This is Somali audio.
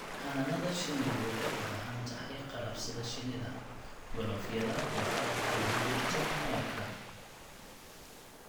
Xannaanada shinnidu waxay u baahan tahay qalab sida shinnida, galoofyada, iyo qalabka lagu gurto malabka.